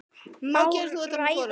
Má ræða hana?